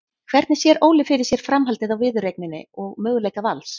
Hvernig sér Óli fyrir sér framhaldið á viðureigninni og möguleika Vals?